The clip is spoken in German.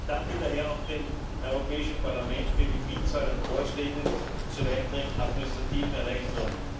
Ich danke daher auch dem Europäischen Parlament für die Vielzahl an Vorschlägen zur weiteren administrativen Erleichterung.